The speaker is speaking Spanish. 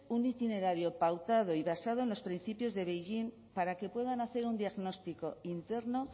un itinerario pautado y basado en los principios de beijing para que puedan hacer un diagnóstico interno